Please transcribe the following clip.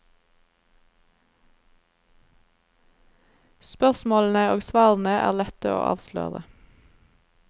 Spørsmålene og svarene er lette å avsløre.